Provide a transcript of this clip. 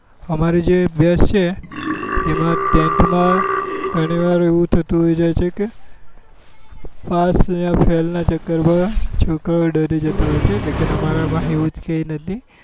અમારે જે એ maths છે એમાં tenth માં ગણી વાર એવું થતું હોય જતું હોય કે પાસ યા fail નાં ચક્કર માં છોકરાઓ ડરી જતા હોય છે લેકિન અમારા માં એવું છે નથી